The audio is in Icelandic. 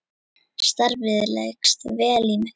Starfið leggst vel í mig.